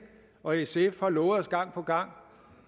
og sf har lovet os gang på gang